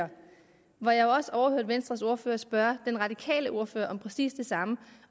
og hvor jeg også overhørte venstres ordfører spørge den radikale ordfører om præcis det samme